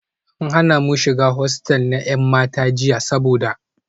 An hana mu shiga hostel na 'yan mata jiya saboda